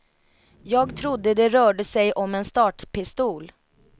Jag trodde det rörde sig om en startpistol.